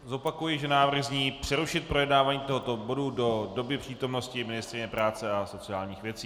Zopakuji, že návrh zní přerušit projednávání tohoto bodu do doby přítomnosti ministryně práce a sociálních věcí.